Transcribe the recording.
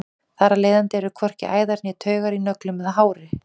þar af leiðandi eru hvorki æðar né taugar í nöglum eða hári